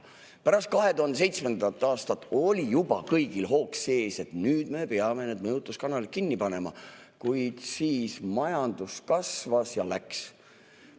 Pärast 2007. aastat oli juba kõigil hoog sees, et nüüd me peame need mõjutuskanalid kinni panema, kuid siis majandus kasvas ja läks.